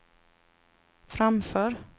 framför